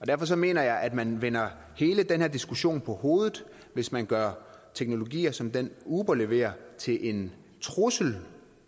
derfor mener jeg at man vender hele den her diskussion på hovedet hvis man gør teknologier som den uber leverer til en trussel